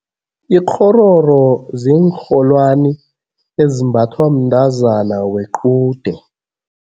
Ikghororo ziinrholwani ezimbathwa mntazana wequde.